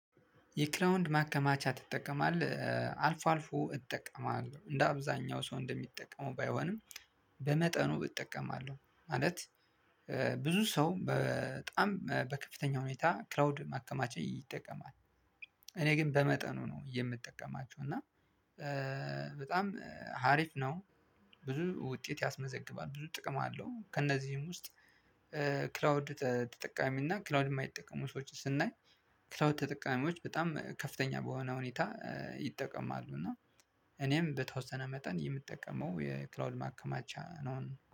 የክራውንድ ማከማቻ ትጠቀማለህ አልፎ አልፎ እጠቀማለሁ እንደ አብዛኛው ሰው እንደሚጠቀሙ ባይሆንም በመጠኑ እጠቀማለሁ ማለት። ብዙ ሰው በጣም በከፍተኛ ሁኔታ ክራውድ ማከማቻ ይጠቀማል። እኔ ግን በመጠኑ ነው የምጠቀማቸው እና በጣም ሀሪፍ ነው። ብዙ ውጤት ያስመዘግባል ብዙ ጥቅም አለው ከእነዚህም ውስጥ። ክላውድ ተጠቃሚ እና ክላውድ ማይጠቀሙ ሰዎችን ስናይ። ክላውድ ተጠቃሚዎች በጣም ከፍተኛ በሆነ ሁኔታ። ይጠቀማሉ እና እኔም በተወሰነ መጠን የምጠቀመው የክላውድ ማከማቻ ነው።